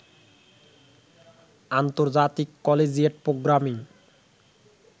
আন্তর্জাতিক collegiate programming